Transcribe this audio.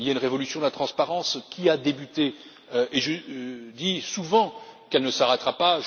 Il y a une révolution de la transparence qui a débuté, et je dis souvent qu'elle ne s'arrêtera pas.